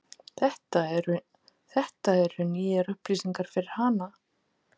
Þetta eru nýjar upplýsingar fyrir hana.